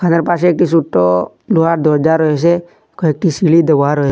তার পাশে একটি সুট্ট লোহার দরজা রয়েসে কয়েকটি সিঁড়ি দেওয়া রয়ে--